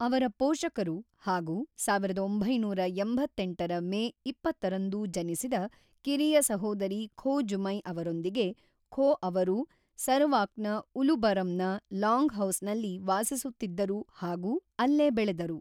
ಅವರ ಪೋಷಕರು ಹಾಗು ೧೯೮೮ರ ಮೇ ೨೦ರಂದು ಜನಿಸಿದ ಕಿರಿಯ ಸಹೋದರಿ ಖೋ ಜುಮೈ ಅವರೊಂದಿಗೆ ಖೋ ಅವರು ಸರವಾಕ್‌ನ ಉಲು ಬರಮ್‌ನ ಲಾಂಗ್‌ಹೌಸ್‌ನಲ್ಲಿ ವಾಸಿಸುತ್ತಿದ್ದರು ಹಾಗು ಅಲ್ಲೇ ಬೆಳೆದರು.